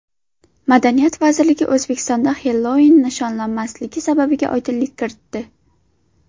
Madaniyat vazirligi O‘zbekistonda Xellouin nishonlanmasligi sababiga oydinlik kiritdi.